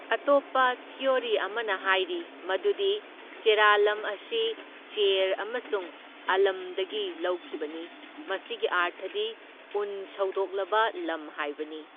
ꯑꯇꯣꯞꯄ ꯊꯤꯑꯣꯔꯤ ꯑꯃꯅ ꯍꯥꯏꯔꯤ ꯃꯗꯨꯗꯤ ꯆꯦꯔꯥꯂꯝ ꯑꯁꯤ ꯆꯦꯔ ꯑꯃꯁꯨꯡ ꯑꯂꯝꯗꯒꯤ ꯂꯧꯈꯤꯕꯅꯤ, ꯃꯁꯤꯒꯤ ꯑꯔꯊꯗꯤ ꯎꯟ ꯁꯧꯗꯣꯛꯂꯕ ꯂꯝ ꯍꯥꯏꯕꯅꯤ꯫